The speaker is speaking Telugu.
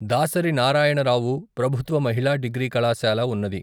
దాసరి నారాయణరావు ప్రభుత్వ మహిళా డిగ్రీ కళాశాల ఉన్నది.